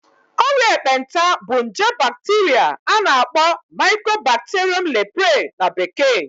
Ọrịa ekpenta bụ nje bacteria a na-akpọ Mycobacterium leprae na bekee